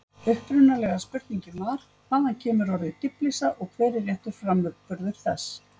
Upprunalega spurningin var: Hvaðan kemur orðið dýflissa og hver er réttur framburður þess?